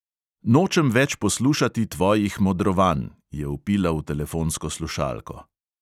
"Nočem več poslušati tvojih modrovanj!" je vpila v telefonsko slušalko.